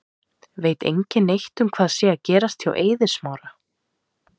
Veit engin neitt um hvað sé að gerast hjá Eiði Smára?